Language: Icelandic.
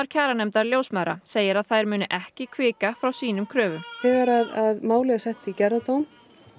kjaranefndar ljósmæðra segir að þær muni ekki hvika frá sínum kröfum þegar málið er sett í gerðardóm